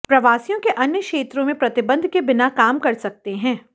प्रवासियों के अन्य क्षेत्रों में प्रतिबंध के बिना काम कर सकते हैं